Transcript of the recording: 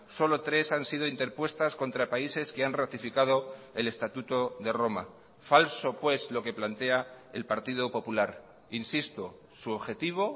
solo tres han sido interpuestas contra países que han ratificado el estatuto de roma falso pues lo que plantea el partido popular insisto su objetivo